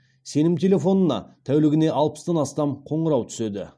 сенім телефонына тәулігіне алпыстан астам қоңырау түседі